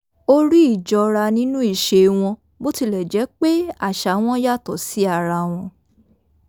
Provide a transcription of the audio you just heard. ó rí íjọra nínú ìṣe wọn bó tilẹ̀ jẹ́ pé àṣà wọn yàtọ̀ sí ara wọn